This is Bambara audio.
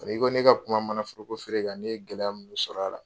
N'i ko ne ka kuma manaforokoeere kan ne ye gɛlɛya minnu sɔrɔ a la.